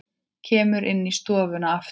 Kemur inn í stofuna aftur.